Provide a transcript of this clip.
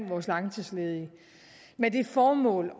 vores langtidsledige med det formål